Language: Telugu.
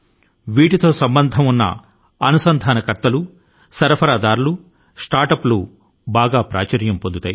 ఈ ఆటల కు వనరుల ను సమీకరించే వారు పంపిణీదారులు స్టార్టప్ రూపకర్తలు బాగా ప్రాచుర్యం పొందారు